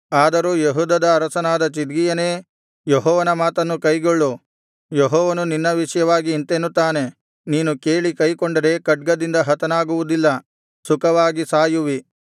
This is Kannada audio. ಆದರೂ ಯೆಹೂದದ ಅರಸನಾದ ಚಿದ್ಕೀಯನೇ ಯೆಹೋವನ ಮಾತನ್ನು ಕೈಗೊಳ್ಳು ಯೆಹೋವನು ನಿನ್ನ ವಿಷಯವಾಗಿ ಇಂತೆನ್ನುತ್ತಾನೆ ನೀನು ಕೇಳಿ ಕೈಕೊಂಡರೆ ಖಡ್ಗದಿಂದ ಹತನಾಗುವುದಿಲ್ಲ ಸುಖವಾಗಿ ಸಾಯುವಿ